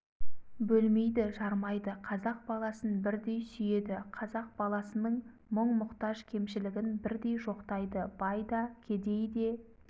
бөлмейді жармайды қазақ баласын бірдей сүйеді қазақ баласының мұң-мұқтаж кемшілігін бірдей жоқтайды бай да кедей де